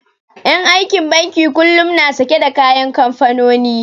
En aikin banki kullum na sake da kayan kamfanoni